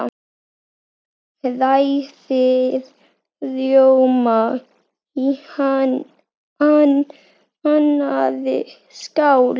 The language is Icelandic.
Hrærið rjóma í annarri skál.